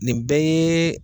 Nin bɛɛ ye